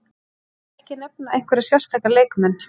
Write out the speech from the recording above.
Ég vil ekki nefna einhverja sérstaka leikmenn.